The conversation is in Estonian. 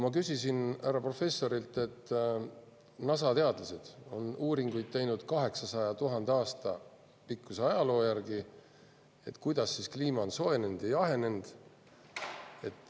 Ma küsisin härra professorilt selle kohta, et NASA teadlased on teinud 800 000 aasta pikkuse ajaloo põhjal uuringuid, kuidas kliima on soojenenud ja jahenenud.